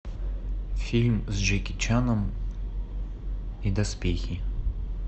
фильм с джеки чаном и доспехи